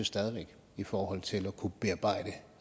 i forhold til at kunne bearbejde